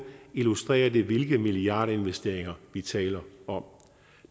illustrerer det hvilke milliardinvesteringer vi taler om